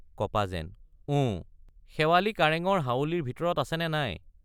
কপা যেন....ওঁ শেৱালি কাৰেঙৰ হাউলিৰ ভিতৰত আছেনে নাই?